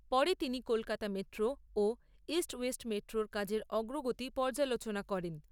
পরে তিনি কলকাতা মেট্রো ও ইস্ট ওয়েস্ট মেট্রোর কাজের অগ্রগতি পর্যালোচনা করেন।